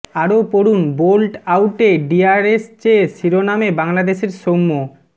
আরও পড়ুন বোল্ড আউটে ডিআরএস চেয়ে শিরোনামে বাংলাদেশের সৌম্য